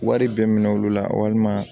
Wari bɛɛ minɛ olu la walima